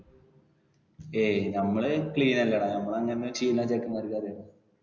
ഏയ് നമ്മള് clean അല്ലെടാ. നമ്മള് അങ്ങനെ ചെയ്യുന്ന ചെക്കെന്മാർക്ക് അറിയോ